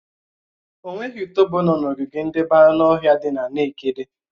Enweghị utòbó nọ̀ n'ogige ndebé anụ ọhịa dị na nekede